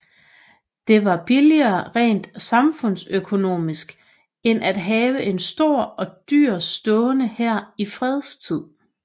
Det var billigere rent samfundsøkonomisk end at have en stor og dyr stående hær i fredstid